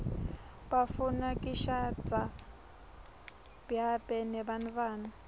bafuna kishadza biabe nebantfuana